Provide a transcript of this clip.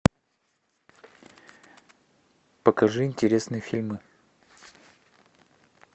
покажи интересные фильмы